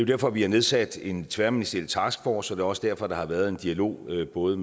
derfor vi har nedsat en tværministeriel taskforce det også derfor der har været en dialog med både